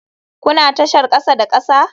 Kuna tashar kasa da kasa?